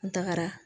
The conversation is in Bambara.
An tagara